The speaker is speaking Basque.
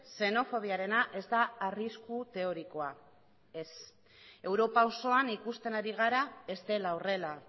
xenofobiarena ez da arrisku teorikoa ez europa osoan ikusten ari gara ez dela horrela